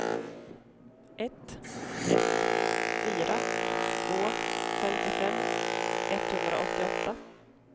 ett ett fyra två femtiofem etthundraåttioåtta